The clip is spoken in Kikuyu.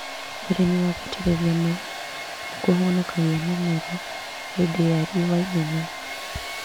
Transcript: ũrĩmi wa gũitĩrĩria maĩ nĩkũhonokagia mĩmera hĩndĩ ya riũa inene